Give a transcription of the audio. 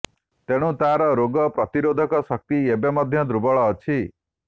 ତେଣୁ ତାର ରୋଗ ପ୍ରତିରୋଧକ ଶକ୍ତି ଏବେ ମଧ୍ୟ ଦୁର୍ବଳ ଅଛି